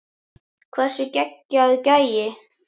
Hversu geggjaður gæi?